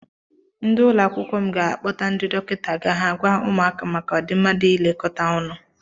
Ndi ụlọakwụkwọ m ga-akpọta ndị dọkịta ga ha gwa ụmụaka maka ọdịmma dị n'ilekọta ọnụ.